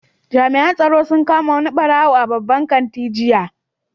Jami'an tsaro sun kama wani barawo a babban kanti jiya.